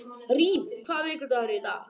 Rín, hvaða vikudagur er í dag?